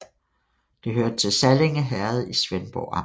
Det hørte til Sallinge Herred i Svendborg Amt